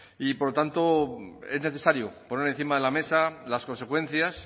y por tanto es necesario por encima de la mesa las consecuencias